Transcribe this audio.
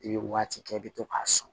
I bɛ waati kɛ i bɛ to k'a sɔn